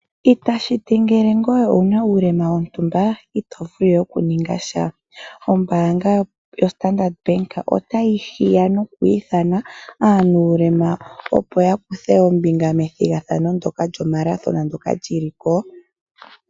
Itashi ti ngele owu na uulema wontumba ito vulu okuningasha. Ombaanga yaStandard Bank otayi hiya noku ithana mboka ye na uulema wontumba, opo ya kuthe ombinga methigathano lyoMarathon.